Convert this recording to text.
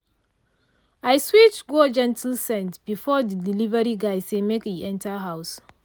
i switch go gentle scent before the delivery guy say make e enter house.